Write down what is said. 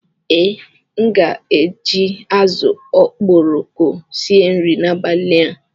Ee, aga m eji azụ̀ okporoko sie nri n'abalị a